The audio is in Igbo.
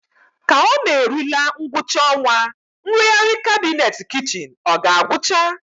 Ka ọ na-erule ngwụcha ọnwa, nrụgharị kabinet kichin ọ ga-agwụcha?